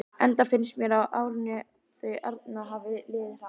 Enda finnst mér sem árin þau arna hafi liðið hratt.